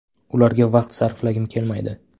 Ularga vaqt sarflagim kelmaydi.